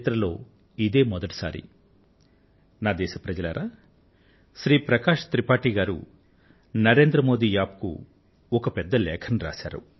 ప్రియమైన నా దేశ వాసులారా శ్రీ ప్రకాశ్ త్రిపాఠీ గారు నరేంద్ర మోది App కు ఒక పెద్ద లేఖను వ్రాశారు